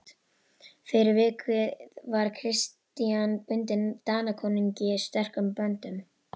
Fyrir vikið var Christian bundinn Danakonungi sterkum böndum.